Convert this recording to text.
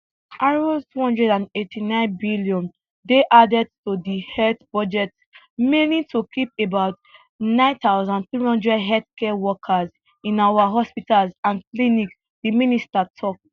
r289 billion dey added to di health budget mainly to keep about 9300 healthcare workers in our hospitals and clinics di minister tok